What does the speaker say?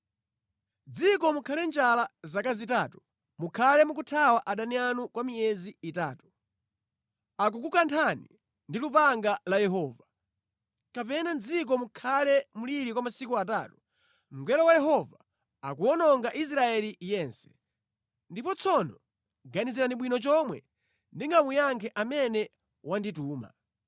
mʼdziko mukhale njala zaka zitatu, mukhale mukuthawa adani anu kwa miyezi itatu, akukukanthani ndi lupanga la Yehova, kapena mʼdziko mukhale mliri kwa masiku atatu, mngelo wa Yehova akuwononga Israeli yense.’ Ndipo tsono ganizirani bwino chomwe ndikamuyankhe amene wandituma.”